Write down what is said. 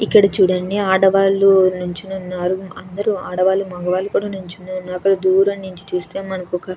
ఇక్కడ చూడండి ఆడవారు నించుని ఉన్నారు. అందరూ ఆడవారుమగవారు కూడా నించుని ఉన్నారు. అక్కడ దూరం నించి చూస్తే మనకొక--